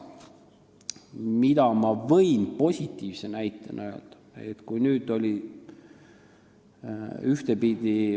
Mida ma võin positiivse näitena öelda?